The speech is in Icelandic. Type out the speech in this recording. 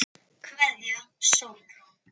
Kveðja, Sólrún.